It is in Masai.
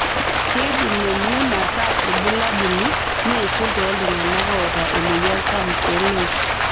Keidim emion ataa olbulabuli, neisul tooltung'ana oota emoyian sapuk ooloik.